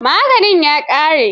Maganin ya ƙare?